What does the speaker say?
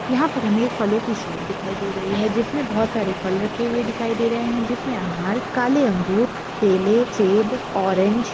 यहाँ पर हमे फलों की शॉप दिखाई दे रही है जिस मे बहुत सारे फल रखे हुए दिखाई दे रहे है जिस मे अनार काले अंगूर केले सेब ऑरेंज --